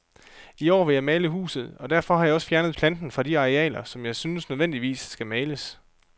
I år vil jeg male huset, og derfor har jeg også fjernet planten fra de arealer, som jeg synes nødvendigvis skal males.